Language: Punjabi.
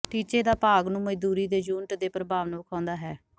ਟੀਚੇ ਦਾ ਭਾਗ ਨੂੰ ਮਜ਼ਦੂਰੀ ਦੇ ਯੂਨਿਟ ਦੇ ਪ੍ਰਭਾਵ ਨੂੰ ਵੇਖਾਉਦਾ ਹੈ